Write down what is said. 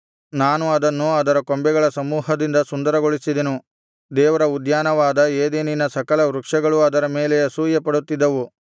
ನಾನು ಅದನ್ನು ಅದರ ಕೊಂಬೆಗಳ ಸಮೂಹದಿಂದ ಸುಂದರಗೊಳಿಸಿದೆನು ದೇವರ ಉದ್ಯಾನವಾದ ಏದೆನಿನ ಸಕಲ ವೃಕ್ಷಗಳೂ ಅದರ ಮೇಲೆ ಅಸೂಯೆಪಡುತ್ತಿದ್ದವು